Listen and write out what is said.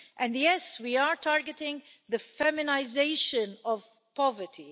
And yes, we are targeting the feminisation of poverty.